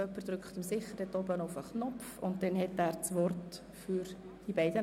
Im Voranschlag 2018 ist der Saldo der Produktgruppe 9.7.5 «Kultur» um CHF 125 000 zu reduzieren.